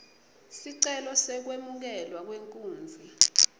sicelo sekwemukelwa kwenkunzi